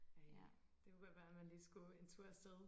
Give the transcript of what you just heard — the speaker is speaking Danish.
Ej det kunne godt være man lige skulle en tur afsted